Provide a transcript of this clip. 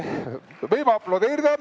Nii, võib aplodeerida.